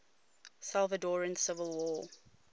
salvadoran civil war